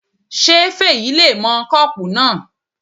Ṣé Fèyí le mọ kọ́pù náà?